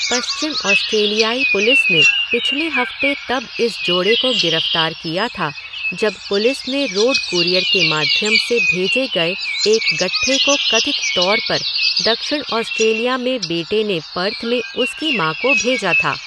पश्चिम ऑस्ट्रेलियाई पुलिस ने पिछले हफ्ते तब इस जोड़े को गिरफ्तार किया था जब पुलिस ने रोड कूरियर के माध्यम से भेजे गए एक गट्ठे को कथित तौर पर दक्षिण ऑस्ट्रेलिया में बेटे ने पर्थ में उसकी माँ को भेजा था।